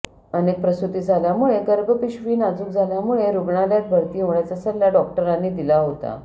अनेक प्रसूती झाल्यामुळे गर्भपिशवी नाजूक झाल्यामुळे रुग्णालयात भरती होण्याचा सल्ला डॉक्टरांनी दिला होता